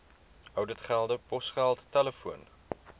ouditgelde posgeld telefoon